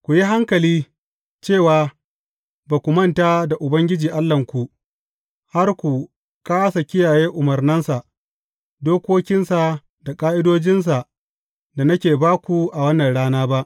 Ku yi hankali cewa ba ku manta da Ubangiji Allahnku, har ku kāsa kiyaye umarnansa, dokokinsa da ƙa’idodinsa da nake ba ku a wannan rana ba.